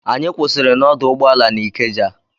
Anyị kwụsịrị n'ọdụ ụgbọala n'Ikeja.